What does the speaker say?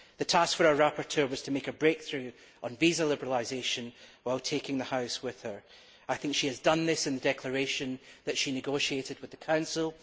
The task for our rapporteur was to make a breakthrough on visa liberalisation while taking the House with her. She has done this in the form of the declaration that she negotiated with the Council.